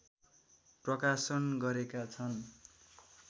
प्रकाशन गरेका छन्